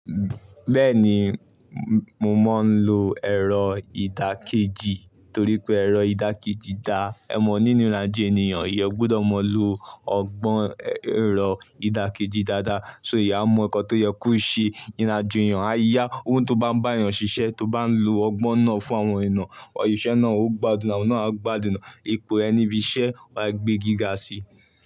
Bẹ́ẹ̀ ni, mo mọ̀ ń lo ẹ̀rọ ìdàkejì torí pé ẹ̀rọ ìdàkejì da'ẹ mọ̀ nínú ìrìnàjò ènìyàn. Ìyẹ́ gbọdọ̀ máa lo ọgbọ́n ẹ̀rọ ìdàkejì dáadáa, sóìyẹ́ a mọ ìkàn tí ó yẹ kó ṣe. Ìrìnàjò èyàn, a yá ohun tó bá ń bá yàn ṣiṣẹ́, tó bá ń lo ọgbọ́n náà fún àwọn iná. Òṣìṣẹ́ náà ó gbádùn, àwọn náà á gbádùn. Epo ẹni ibiṣẹ́ wà á gbé gíga síi.